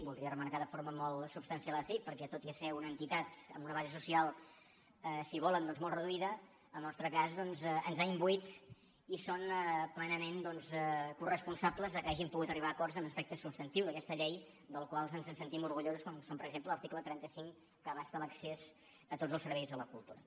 voldria remarcar de forma molt substancial acic perquè tot i ser una entitat amb una base social si volen doncs molt reduïda en el nostre cas ens ha imbuït i són plenament coresponsables que hàgim pogut arribar a acords en aspectes substantius d’aquesta llei dels quals ens en sentim orgullosos com és per exemple l’article trenta cinc que abasta l’accés a tots els serveis de la cultura